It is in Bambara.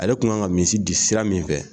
Ale tun kan ka misi di sira min fɛ